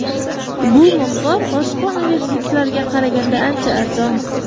Bu miqdor boshqa universitetlarga qaraganda ancha arzon.